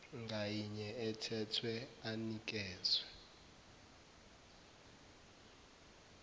ngayinye ethethwe anikeze